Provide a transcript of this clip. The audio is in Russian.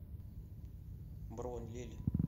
бронь лель